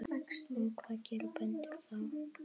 Og hvað gera bændur þá?